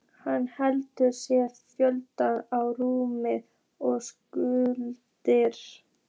Hann hendir sér flötum á rúmið og stynur.